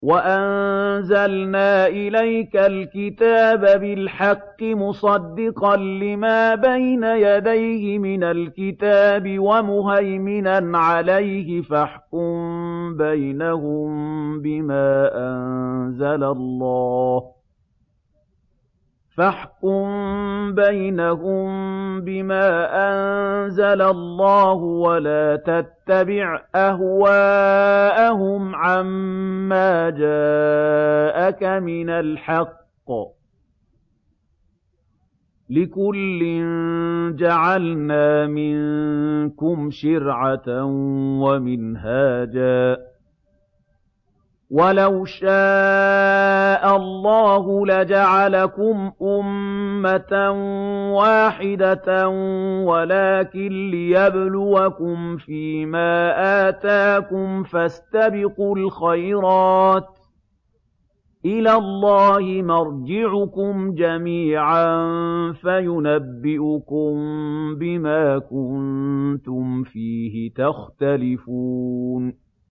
وَأَنزَلْنَا إِلَيْكَ الْكِتَابَ بِالْحَقِّ مُصَدِّقًا لِّمَا بَيْنَ يَدَيْهِ مِنَ الْكِتَابِ وَمُهَيْمِنًا عَلَيْهِ ۖ فَاحْكُم بَيْنَهُم بِمَا أَنزَلَ اللَّهُ ۖ وَلَا تَتَّبِعْ أَهْوَاءَهُمْ عَمَّا جَاءَكَ مِنَ الْحَقِّ ۚ لِكُلٍّ جَعَلْنَا مِنكُمْ شِرْعَةً وَمِنْهَاجًا ۚ وَلَوْ شَاءَ اللَّهُ لَجَعَلَكُمْ أُمَّةً وَاحِدَةً وَلَٰكِن لِّيَبْلُوَكُمْ فِي مَا آتَاكُمْ ۖ فَاسْتَبِقُوا الْخَيْرَاتِ ۚ إِلَى اللَّهِ مَرْجِعُكُمْ جَمِيعًا فَيُنَبِّئُكُم بِمَا كُنتُمْ فِيهِ تَخْتَلِفُونَ